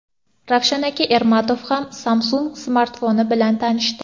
Ravshan aka Ermatov ham Samsung smartfoni bilan tanishdi.